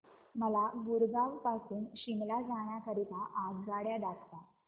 मला गुरगाव पासून शिमला जाण्या करीता आगगाड्या दाखवा